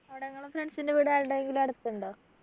അവിടെ നിങ്ങളെ friends ൻ്റെ വീട് ആരുടേങ്കിലും അടുത്തുണ്ടോ